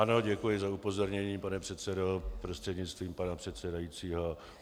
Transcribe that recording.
Ano, děkuji za upozornění, pane předsedo prostřednictvím pana předsedajícího.